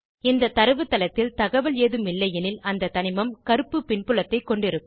இந்த தரவுத்தளத்தில் தகவல் ஏதும் இல்லையெனில் அந்த தனிமம் கருப்பு பின்புலத்தைக் கொண்டிருக்கும்